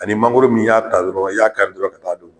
Ani mangoro min, i y'a ta dɔrɔn, a y'a kari dɔrɔn ka taa dun